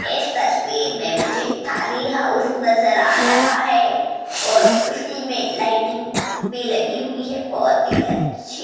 तस्वीर में मुझे थली हाउस नजर आ रहा है और उसी में लाइटिंग भी लगी हुई है बहोत ही अच्छी।